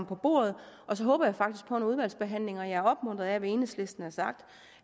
på bordet og så håber jeg faktisk på udvalgsbehandlingen jeg er opmuntret af hvad enhedslisten har sagt